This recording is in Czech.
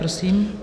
Prosím.